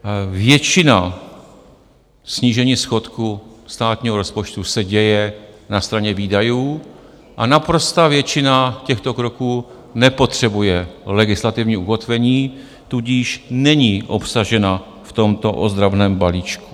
Většina snížení schodku státního rozpočtu se děje na straně výdajů a naprostá většina těchto kroků nepotřebuje legislativní ukotvení, tudíž není obsažena v tomto ozdravném balíčku.